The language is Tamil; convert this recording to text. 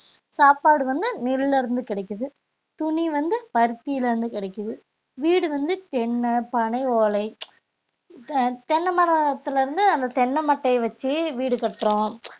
சாப்பாடு வந்து நெல்ல இருந்து கிடைக்குது, துணி வந்து பருத்தில இருந்து கிடைக்குது, வீடு வந்து தென்ன பனை ஓலை தெ~ தென்னை மரத்திலிருந்து அந்த தென்னை மட்டையை வச்சு வீடு கட்டுறோம்